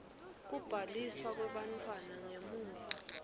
kubhaliswa kwebantfwana ngemuva